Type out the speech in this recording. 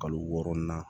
Kalo wɔɔrɔnan